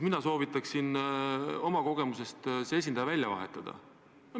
Mina soovitan oma kogemustele toetudes see esindaja välja vahetada.